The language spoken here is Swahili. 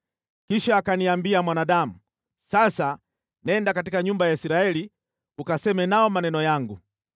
Kisha akaniambia, “Mwanadamu, sasa nenda katika nyumba ya Israeli ukaseme nao maneno yangu.